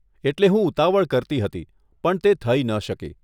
એટલે હું ઉતાવળ કરતી હતી પણ તે થઇ ન શકી.